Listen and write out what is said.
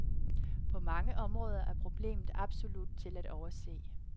På mange områder er problemet absolut til at overse.